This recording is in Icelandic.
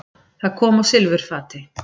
Það kom á silfurfati.